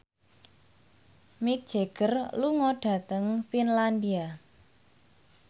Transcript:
Mick Jagger lunga dhateng Finlandia